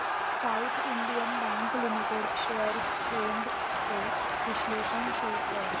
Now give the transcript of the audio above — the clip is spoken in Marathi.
south Indian Bank Limited shares trends चे विश्लेषण शो कर